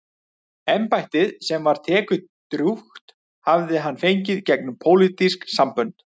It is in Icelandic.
Embættið, sem var tekjudrjúgt, hafði hann fengið gegnum pólitísk sambönd.